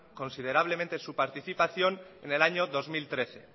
considerablemente su participación en el año dos mil trece